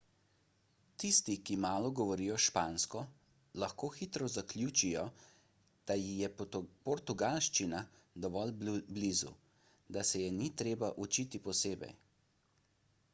tisti ki malo govorijo špansko lahko hitro zaključijo da ji je portugalščina dovolj blizu da se je ni treba učiti posebej